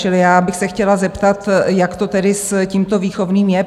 Čili já bych se chtěla zeptat, jak to tedy s tímto výchovným je?